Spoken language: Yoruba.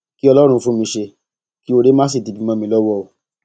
kí ọlọrun fún mi ṣe kí oore má sì dibi mọ mi lọwọ o